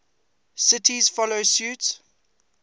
cities follow suit